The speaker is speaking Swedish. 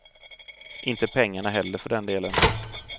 Inte pengarna heller för den delen.